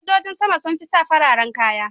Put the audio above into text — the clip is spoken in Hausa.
Sojojin sama sun fi sa fararen kaya.